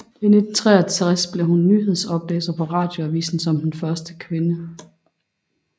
I 1963 blev hun nyhedsoplæser på Radioavisen som den første kvinde